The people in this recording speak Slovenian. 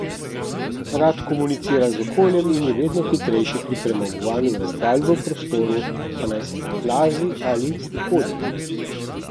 Rad komunicira z okoljem in je vedno hitrejši pri premagovanju razdalj v prostoru, pa naj se plazi ali hodi.